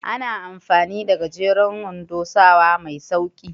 Ana amfani da gajeren wando sawa mai sauƙi.